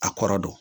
A kɔrɔ don